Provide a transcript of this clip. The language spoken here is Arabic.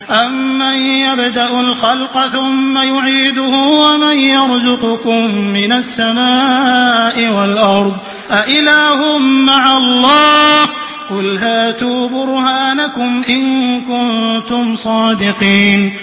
أَمَّن يَبْدَأُ الْخَلْقَ ثُمَّ يُعِيدُهُ وَمَن يَرْزُقُكُم مِّنَ السَّمَاءِ وَالْأَرْضِ ۗ أَإِلَٰهٌ مَّعَ اللَّهِ ۚ قُلْ هَاتُوا بُرْهَانَكُمْ إِن كُنتُمْ صَادِقِينَ